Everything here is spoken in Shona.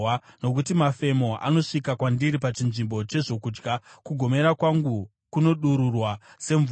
Nokuti mafemo anosvika kwandiri pachinzvimbo chezvokudya, kugomera kwangu kunodururwa semvura.